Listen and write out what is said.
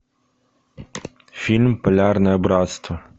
фильм полярное братство